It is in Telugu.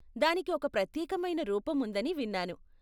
దానికి ఒక ప్రత్యేకమైన రూపం ఉందని విన్నాను.